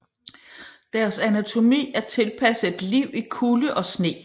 Deres anatomi er tilpasset et liv i kulde og sne